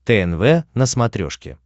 тнв на смотрешке